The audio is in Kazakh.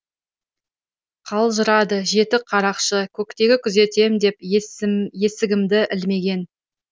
қалжырады жеті қарақшы көктегі күзетем деп есігімді ілмеген